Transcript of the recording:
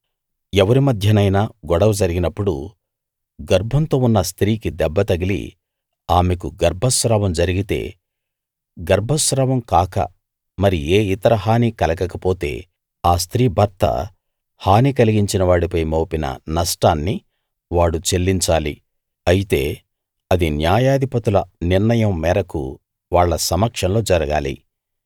ఎవరి మధ్యనైనా గొడవ జరిగినప్పుడు గర్భంతో ఉన్న స్త్రీకి దెబ్బ తగిలి ఆమెకు గర్భస్రావం జరిగితే గర్భస్రావం కాక మరి ఏ ఇతర హానీ కలగకపోతే ఆ స్త్రీ భర్త హాని కలిగించినవాడిపై మోపిన నష్టాన్ని వాడు చెల్లించాలి అయితే అది న్యాయాధిపతుల నిర్ణయం మేరకు వాళ్ళ సమక్షంలో జరగాలి